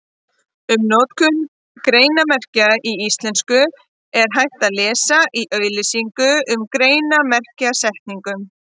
Um notkun greinarmerkja í íslensku er hægt að lesa í auglýsingu um greinarmerkjasetningu.